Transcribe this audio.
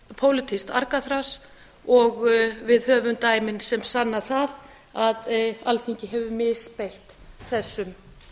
pólitískt argaþras og við höfum dæmin sem sanna það að alþingi hefur misbeitt þessum